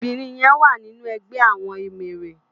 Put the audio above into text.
Óbirin yèn wá ninú ègbè àwòn éméré